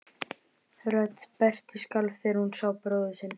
Rödd Berthu skalf þegar hún sá bróður sinn.